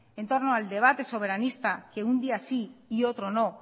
en torno al debate soberanista que un día sí y otro no